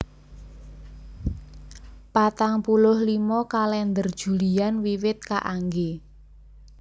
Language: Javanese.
Patang puluh limo Kalèndher Julian wiwit kaanggé